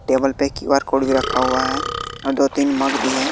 Table पे Q R code भी रखा हुआ है और दो तीन मग भी है।